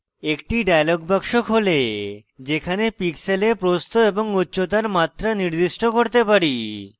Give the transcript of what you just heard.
একটি dialog box খোলে যেখানে pixels প্রস্থ এবং উচ্চতার মাত্রা নির্দিষ্ট করতে পারি